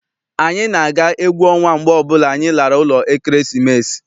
Anyị na-aga egwu ọnwa mgbe ọbụla anyị lara ụlọ ekeresimesi.